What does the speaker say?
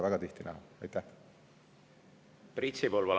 Priit Sibul, palun!